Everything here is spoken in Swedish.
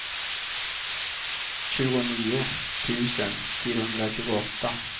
tjugonio tusen fyrahundratjugoåtta